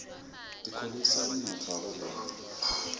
tikhulisa umnotfo wakuleli